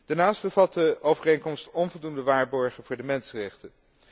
Daarnaast bevat de overeenkomst onvoldoende waarborgen voor de mensenrechten.